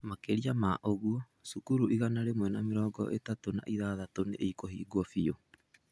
Makĩria ma ũguo, cukuru igana rĩmwe na mĩrongo ĩtatũ na ithathatũ nĩ ikũhingwo biũ.